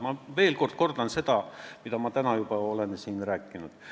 Ma veel kord kordan, mida ma täna juba olen siin rääkinud.